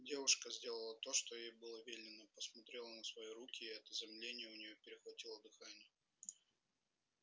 девушка сделала то что ей было велено посмотрела на свои руки и от изумления у нее перехватило дыхание